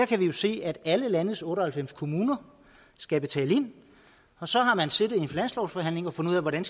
kan vi jo se at alle landets otte og halvfems kommuner skal betale ind og så har man siddet i en finanslovsforhandling og fundet ud af hvordan